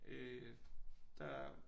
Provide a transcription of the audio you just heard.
Øh der